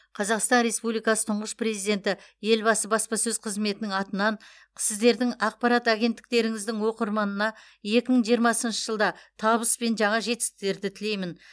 қазақстан республикасы тұңғыш президенті елбасы баспасөз қызметінің атынан сіздердің ақпарат агенттіктеріңіздің оқырманына екі мың жиырмасыншы жылда табыс пен жаңа жетістіктерді тілеймін